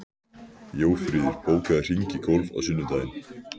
Jófríður, bókaðu hring í golf á sunnudaginn.